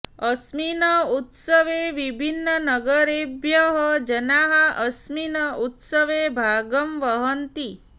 अस्मिन् उत्सवे विभिन्ननगरेभ्यः जनाः अस्मिन् उत्सवे भागं वहन्ति